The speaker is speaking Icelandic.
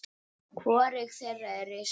Hvorug þeirra er risin.